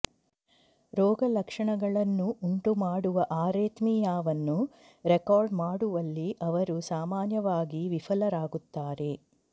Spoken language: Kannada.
ರೋಗಲಕ್ಷಣಗಳನ್ನು ಉಂಟುಮಾಡುವ ಅರೆತ್ಮಿಯಾವನ್ನು ರೆಕಾರ್ಡ್ ಮಾಡುವಲ್ಲಿ ಅವರು ಸಾಮಾನ್ಯವಾಗಿ ವಿಫಲರಾಗುತ್ತಾರೆ